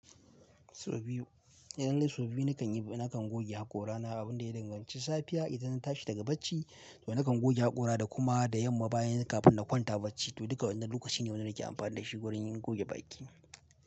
Sau biyu. Idan dai sau biyu nakan yi, na kan goge haƙora na abin da ya danganci safiya idan na tashi daga bacci to na kan goge haƙora da kuma da yamma bayan kafin na kwanta bacci. To duka wannan lokaci ne wanda nake amfani da shi wurin goge bakin.